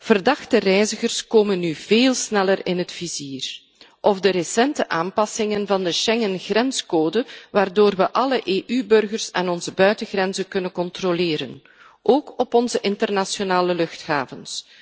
Verdachte reizigers komen nu veel sneller in het vizier. Ik denk ook aan de recente aanpassingen van de Schengen grenscode, waardoor we alle EU burgers aan onze buitengrenzen kunnen controleren, ook op onze internationale luchthavens.